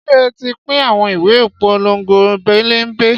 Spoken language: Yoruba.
Ṣé ẹ ti pín àwọn ìwé ìpolongo pénbélé?